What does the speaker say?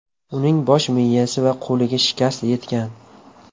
Uning bosh miyasi va qo‘liga shikast yetgan.